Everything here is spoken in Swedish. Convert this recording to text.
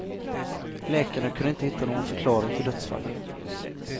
Läkarna kunde inte hitta någon förklaring till dödsfallen.